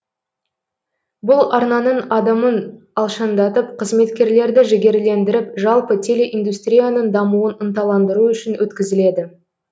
бұл арнаның адымын алшаңдатып қызметкерлерді жігерлендіріп жалпы телеиндустрияның дамуын ынталандыру үшін өткізіледі